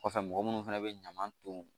Kɔfɛ mɔgɔ munnu fɛnɛ bɛ ɲaman ton